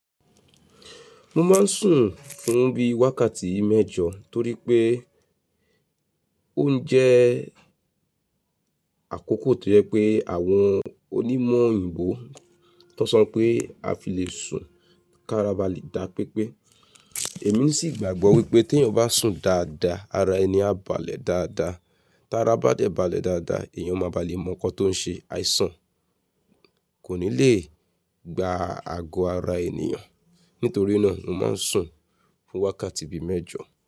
Mo máa ń sùn fún bí i wákàtí mẹ́jọ torí pé ó ń jẹ́ àkókò tó yẹ pé àwọn onímọ̀ òyìnbó tán sọ pé a fi lè sùn ká ara balẹ̀ dá pepé. Èmi sì gbàgbọ́ wípé tí èèyàn bá sùn dáadáa, ara ẹni á balẹ̀ dáadáa. Ti ara bá dẹ̀ balẹ̀ dáadáa, èèyàn máa ba lè mọ nǹkan tó ń ṣe àìsàn, kò ní lè gba ago ara ènìyàn. Nítorí náà mo máa ń sùn fún wákàtí bí i mẹ́jọ.